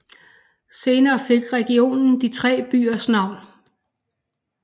Senere fik regionen de tre byers navn